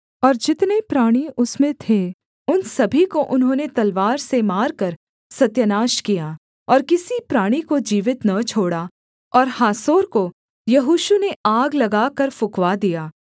और जितने प्राणी उसमें थे उन सभी को उन्होंने तलवार से मारकर सत्यानाश किया और किसी प्राणी को जीवित न छोड़ा और हासोर को यहोशू ने आग लगाकर फुँकवा दिया